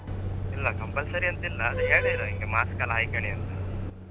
ಇಲ್ಲ compulsory ಎನ್ತಿಲ್ಲಾ ಹೇಳಿದ್ರ್ ಹಿಂಗ್ mask ಎಲ್ಲ ಹಾಯ್ಕಳಿ ಅಂತ.